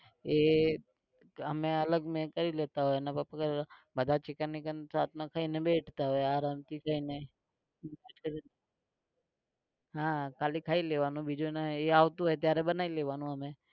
એ અમે અલગ મેડ કરી લેતા હોય અને બધા chicken વિકન રાતના ખઈને બેઠતા હોય આરામ થી જઈને હા ખાલી ખાઈ લેવાનું બીજું એને એ આવતું હોય ત્યારે બનાઈ લેવાનું